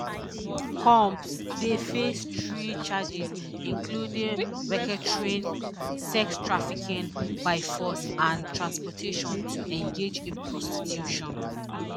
combs dey face three charges including racketeering sex trafficking by force and transportation to engage in prostitution